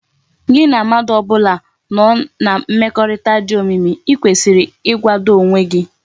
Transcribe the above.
Gi na mmadu obula i no na mmekorita di omimi i kwesiri igwado onwe gi